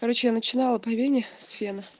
короче я начинала по вене с фена